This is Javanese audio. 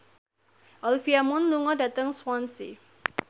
Olivia Munn lunga dhateng Swansea